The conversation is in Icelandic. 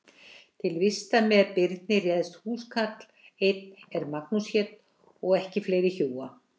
Til vistar með Birni réðst húskarl einn er Magnús hét og ekki fleira hjúa.